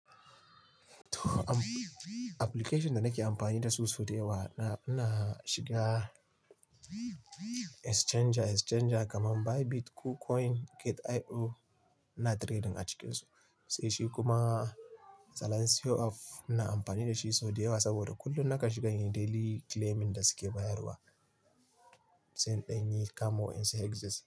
To am-- application da nake amfani da su sau da yawa na, ina shiga exchanger, exchanger kaman Bybit kucoin, Gate.io ina trading a cikinsu. Sai shi kuma Zalencio Up ina amfani da shi sau da yawa saboda kullum nakan shiga inyi daily claiming da suke bayarwa, sai in ɗanyi kamo wa'insu exit.